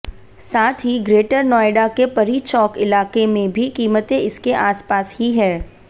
साथ ही ग्रेटर नोएडा के परी चौक इलाके में भी कीमतें इसके आसपास ही हैं